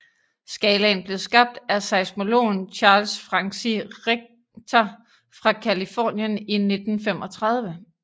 Skalaen blev skabt af seismologen Charles Francis Richter fra Californien i 1935